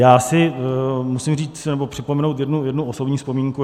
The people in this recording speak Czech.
Já si musím říct, nebo připomenout jednu osobní vzpomínku.